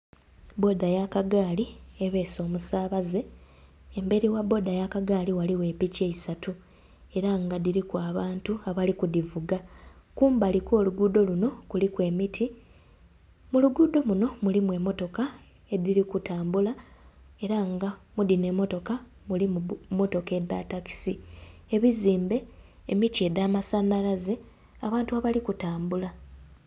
Bboda ya kagaali ebeese omusabaze, emberi gha bboda ya kagaali ghaligho epiki isatu era nga dhiriku abantu abali ku dhivuga. Kumbali kw'oluguudo lunho kuliku emiti, mu luguudo munho mulimu emmotoka edhiri kutambula era nga mu dhino emmotoka mulimu mmotoka edha takisi, ebizimbe, emiti edha masanhalaze, abantu abali ku tambula.